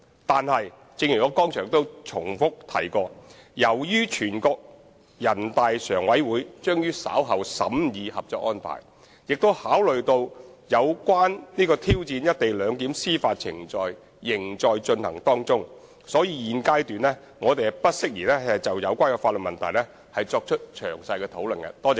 但是，正如我剛才重覆指出，由於全國人大常委會將於稍後審議《合作安排》，並考慮到有關挑戰"一地兩檢"的司法程序仍在進行，因此現階段我們不宜就有關的法律問題作出詳細討論。